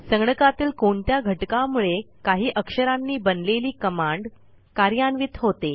संगणकातील कोणत्या घटकामुळे काही अक्षरांनी बनलेली कमांड कार्यान्वित होते